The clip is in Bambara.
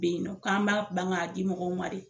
Be in nɔ k'an ba ban ka di mɔgɔw ma de